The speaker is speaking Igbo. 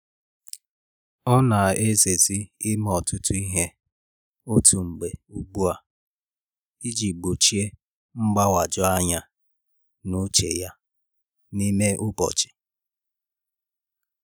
O na eze zi ime ọtụtụ ihe otu mgbe ugbu a i ji gbochie mgbanwoju anya n’uche ya n’ime ụbọchị.